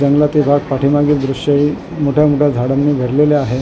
जंगलातील भाग पाठीमागील दृश्य हे मोठ्या मोठ्या झाडांनी भरलेले आहे .